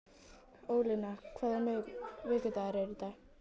Ólína, hvaða vikudagur er í dag?